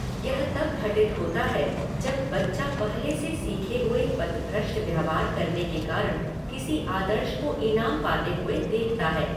यह तब घटित होता है जब बच्चा पहले से सीखे हुए पथभ्रष्ट व्यवहार करने के कारण किसी आदर्श को ईनाम पाते हुए देखता है।